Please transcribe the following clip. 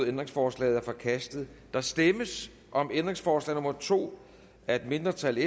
ændringsforslaget er forkastet der stemmes om ændringsforslag nummer to af et mindretal